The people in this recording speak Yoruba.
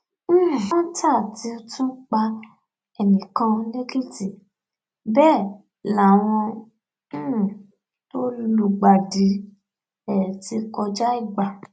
um kọńtà ti tún pa ẹnì kan lẹkìtì bẹẹ láwọn um tó lùgbàdì ẹ ti kọjá igba